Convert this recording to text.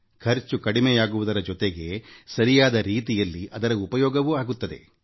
ಖರ್ಚು ಕಡಿಮೆಯಾಗುವುದರ ಜೊತೆಗೆ ಸರಿಯಾದ ರೀತಿಯಲ್ಲಿ ಅದರ ಉಪಯೋಗವೂ ಆಗುತ್ತದೆ